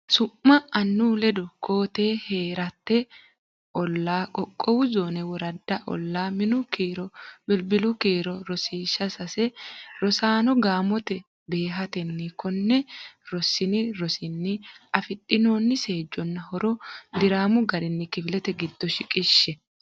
Su’ma annu ledo koo-tee Hee’rate olla Qoqqowo Zoone Worada Ollaa Minu kiro Bilbilu kiiro Rosiishsha Sase Rosaano, gaamote beehantine konne Rossini rosinni afidhinoonni seejjonna horo diraamu garinni kifilete giddo shiqishshe.